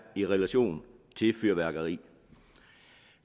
i relation til fyrværkeri